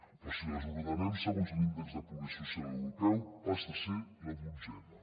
però si les ordenem segons l’índex de progrés social europeu passa a ser la dotzena